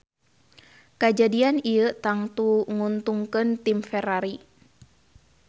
Kajadian ieu tangtu nguntungkeun tim Ferrari.